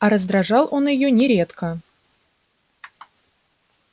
а раздражал он её нередко